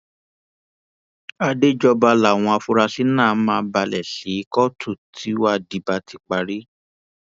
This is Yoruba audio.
àdéjọba làwọn afurasí náà máa balẹ sí kóòtù tíwádìí bá ti parí